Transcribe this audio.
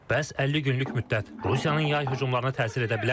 Bəs 50 günlük müddət Rusiyanın yay hücumlarına təsir edə bilərmi?